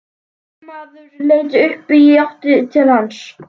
Varðmaður leit upp og í átt til hans.